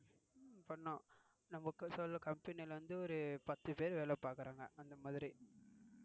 பண்ணோம். நமக்கு சில company ல இருந்து ஒரு பத்து பேர் வேல பாக்குறாங்க அந்த மாதிரி.